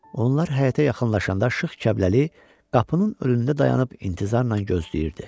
Onlar həyətə yaxınlaşanda Şıx Kəbləli qapının önündə dayanıb intizarla gözləyirdi.